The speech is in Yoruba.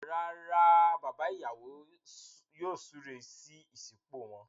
Rárá, bàbá ìyàwó yóò súré sí ìsopọ̀ wọn.